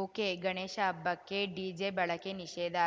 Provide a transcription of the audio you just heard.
ಒಕೆಗಣೇಶ ಹಬ್ಬಕ್ಕೆ ಡಿಜೆ ಬಳಕೆ ನಿಷೇಧ